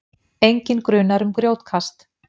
Enginn grunaður um grjótkast